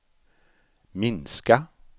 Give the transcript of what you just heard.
minska